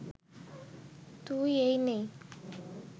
তুই এই নিয়ে